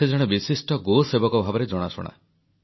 ସେ ଜଣେ ବିଶିଷ୍ଟ ଗୋସେବକ ଭାବରେ ଜଣାଶୁଣା